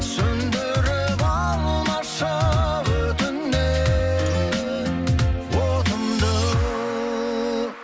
сөндіріп алмашы өтінем отымды